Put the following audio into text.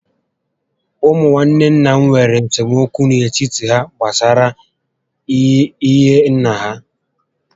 Ụmụ nwanne nna m nwèrè esemokwu n'etiti há gbásárá ihe nnà ha